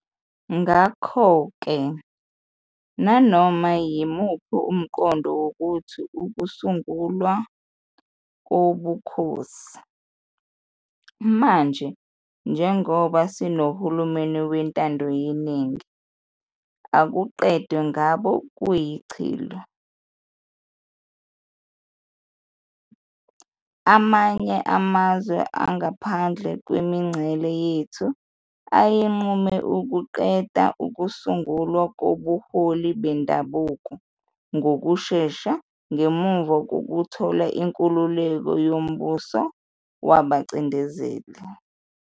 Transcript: Ngakho-ke nanoma yimuphi umqondo wokuthi ukusungulwa kobukhosi, manje njengoba sinohulumeni wentando yeningi, akuqedwe ngabo kuyichilo. Amanye amazwe angaphandle kwemingcele yethu ayenqume ukuqeda ukusungulwa kobuholi bendabuko ngokushesha ngemuva kokuthola inkululeko kumbuso wabacindezeli.